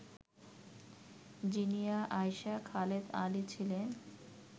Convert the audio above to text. জিনিয়া আয়শা খালেদ আলী ছিলেন